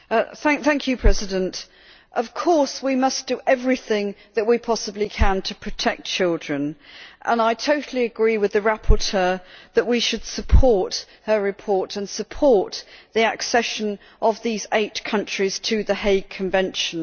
Madam President, of course we must do everything we possibly can to protect children, and I totally agree with the rapporteur that we should support her report and support the accession of these eight countries to the Hague Convention.